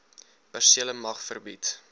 persele mag verbied